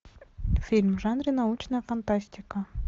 фильм в жанре научная фантастика